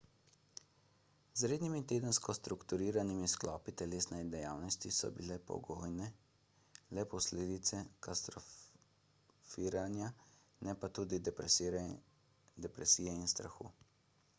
z rednimi tedensko strukturiranimi sklopi telesne dejavnosti so bile pogojene le posledice katastrofiranja ne pa tudi depresije in strahu